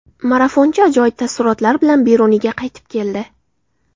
Marafonchi ajoyib taassurotlar bilan Beruniyga qaytib keldi.